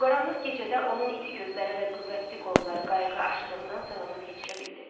O qaranlıq gecədə onun iti gözləri və qüvvətli qolları qayığı aşırımdan salamat keçirə bildi.